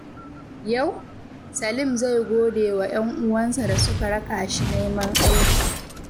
Yau, Salim zai gode wa ‘yan’uwansa da suka raka shi neman aiki.